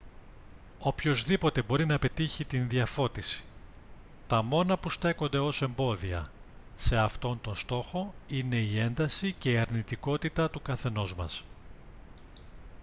οποιοσδήποτε μπορεί να πετύχει την διαφώτιση τα μόνα που στέκονται ως εμπόδια σε αυτό τον στόχο είναι η ένταση και η αρνητικότητα του καθενός μας